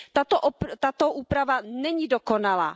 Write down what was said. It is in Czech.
Tato úprava není dokonalá.